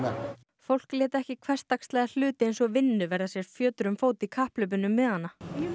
fólk lét ekki hversdagslega hluti eins og vinnu verða sér fjötur um fót í kapphlaupinu um miðana